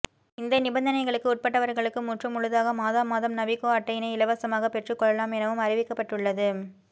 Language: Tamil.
இந்த நிபந்தனைகளுக்கு உட்பட்டவர்களுக்கு முற்று முழுதாக மாதா மாதம் நவிகோ அட்டையினை இலவசமாக பெற்றுக்கொள்ளலாம் எனவும் அறிவிக்கப்பட்டுள்ளது